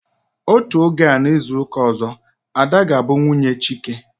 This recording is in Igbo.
Otú oge a n'izuka ọzọ, Ada ga bụ nwunye Chike